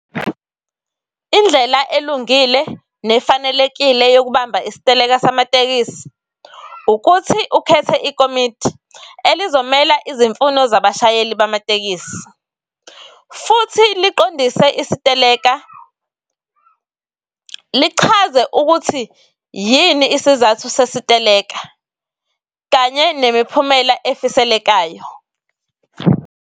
Indlela elungile nefanelekile yokubamba isiteleka samatekisi ukuthi ukhethe ikomidi elizomela izimfuno zabashayeli bamatekisi. Futhi liqondise isiteleka . Lichakaze ukuthi yini isizathu sesiteleka kanye nemiphumela efiselekayo.